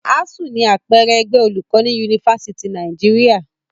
ASSU ni àpẹẹrẹ ẹgbẹ́ olùkọ́ ní Yunifásítì Nàìjíríà.